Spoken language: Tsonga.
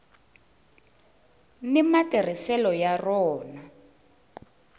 ni matirhiselo ya rona